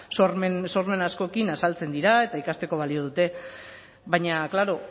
sormen askorekin azaltzen dira eta ikasteko balio dute baina klaro